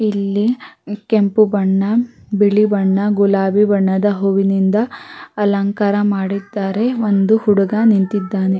ಇಲ್ಲಿ ಕೆಂಪು ಬಣ್ಣ ಬಿಳಿ ಬಣ್ಣ ಗುಲಾಬಿ ಬಣ್ಣದ ಹೂವಿನಿಂದ ಅಲಂಕಾರ ಮಾಡಿದ್ದಾರೆ ಒಂದು ಹುಡುಗ ನಿಂತಿದ್ದಾನೆ.